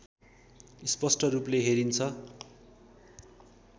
स्‍पष्‍ट रूपले हेरिन्छ